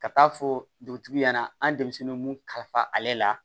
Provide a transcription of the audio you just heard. Ka taa fɔ dugutigi ɲɛna an denmisɛnnin mun kalifa ale la